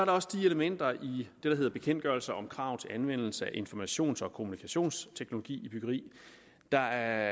også de elementer i det der havde bekendtgørelse om krav til anvendelse af informations og kommunikationsteknologi i byggeri der